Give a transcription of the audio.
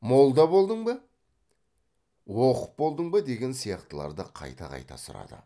молда болдың ба оқып болдың ба деген сияқтыларды қайта қайта сұрады